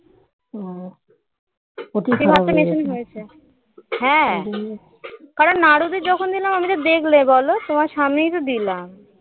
কারণ নাড়ুদের যখন দিলাম আমি তো দেখলে বলো তোমার সামনেই তো দিলাম